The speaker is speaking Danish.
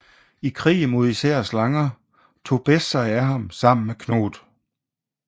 I krig mod især slanger tog Bes sig af ham sammen med Thoth